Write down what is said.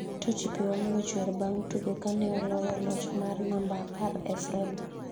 Totti pi wang'e ochwer bang' tugo kane oloye loch mar namba apar e frem